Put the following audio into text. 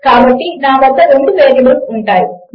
కాబట్టి నా వద్ద 2 వేరియబుల్స్ ఉంటాయి